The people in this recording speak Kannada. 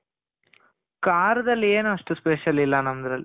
ಖಾರದಲ್ಲಿ ಏನು ಅಷ್ಟು special ಇಲ್ಲ ನಮ್ದ್ರಲ್ಲಿ